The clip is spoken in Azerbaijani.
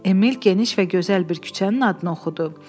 Emil geniş və gözəl bir küçənin adını oxudu.